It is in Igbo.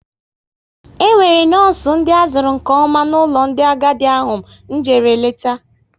E nwere nọọsụ ndị azuru nke ọma n'ụlọ ndị agadi ahụ m jere leta